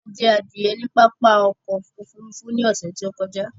A jẹ adìẹ ní pápá oko òfurufú ní ọ̀sẹ̀ tí ó kọjá.